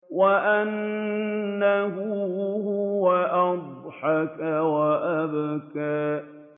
وَأَنَّهُ هُوَ أَضْحَكَ وَأَبْكَىٰ